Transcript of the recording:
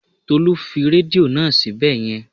Tolú fi rédíò náà síbẹ̀ yẹn